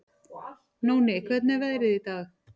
Nóni, hvernig er veðrið í dag?